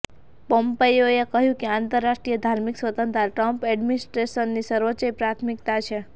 પોમ્પેયોએ કહ્યું કે આંતરરાષ્ટ્રીય ધાર્મિક સ્વતંત્રતા ટ્રમ્પ એડમિનિસ્ટ્રેશનની સર્વોચ્ચ પ્રાથમિકતા છે